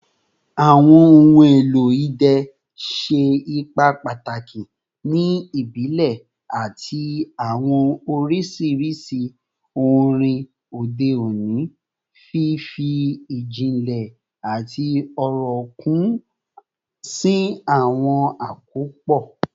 Awọn ohun elo idẹ ṣe ipa pataki ni ibile ati awọn oriṣi orin ode oni, fifi ijinle ati ọrọ kun si awọn akopọ